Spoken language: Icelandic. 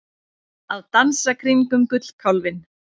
Að dansa kringum gullkálfinn